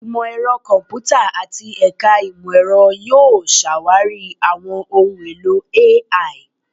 Imọ-ẹrọ Kọmputa ati Ẹka Imọ-ẹrọ yoo ṣawari awọn ohun elo AI